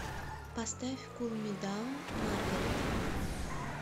поставь кул ми даун маргарет